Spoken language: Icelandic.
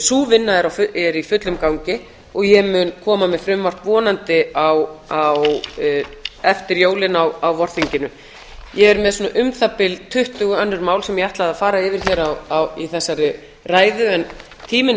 sú vinna er í fullum gangi og ég mun koma með frumvarp vonandi eftir jólin á vorþinginu ég er með svona um það bil tuttugu önnur mál sem ég ætlaði að fara yfir hér í þessari ræðu en tíminn er